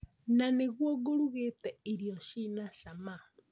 Na nĩguo ngũrugĩte irio cina cama